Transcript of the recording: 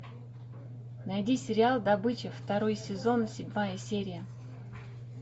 найди сериал добыча второй сезон седьмая серия